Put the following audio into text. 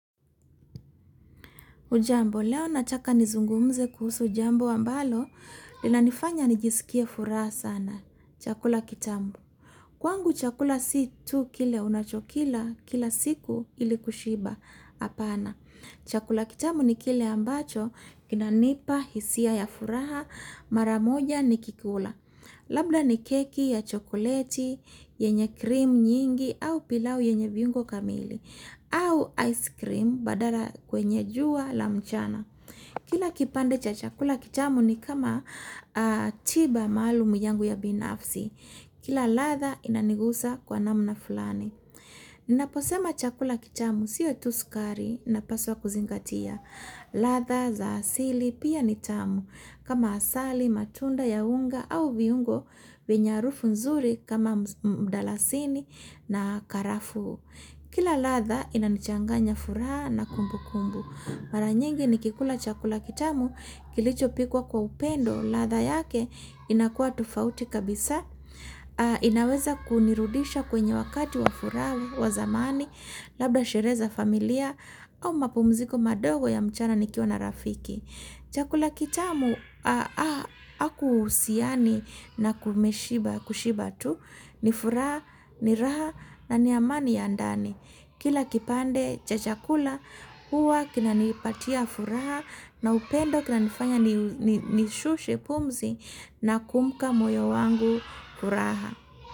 Hujambo, leo nataka nizungumze kuhusu jambo ambalo, linanifanya nijisikie furaha sana, chakula kitamu. Kwangu chakula si tu kile unachokila, kila siku ili kushiba hapana. Chakula kitamu ni kile ambacho, kinanipa, hisia ya furaha, maramoja nikikula. Labda ni keki ya chokoleti, yenye krimu nyingi, au pilau yenye viungo kamili. Au ice cream badala kwenye jua la mchana. Kila kipande cha chakula kitamu ni kama tiba maalum yangu ya binafsi. Kila ladha inaniguza kwa namna fulani. Ninaposema chakula kitamu siyo tu sukari napaswa kuzingatia. Ladha za asili pia ni tamu. Kama asali, matunda ya unga au viungo, vyenye harufu nzuri kama mdalasini na karafuu. Kila ladha inanichanganya furaha na kumbukumbu. Mara nyingi nikikula chakula kitamu, kilichopikwa kwa upendo ladha yake inakuwa tofauti kabisa. Inaweza kunirudisha kwenye wakati wa furaha wa zamani labda sherehe za familia au mapumziko madogo ya mchana nikiwa na rafiki. Chakula kitamu hakuhusiani na kushiba tu ni furaha, ni raha na ni amani ya ndani. Kila kipande cha chakula huwa kinanipatia furaha na upendo kinanifanya nishushe pumzi nakupa moyo wangu furaha.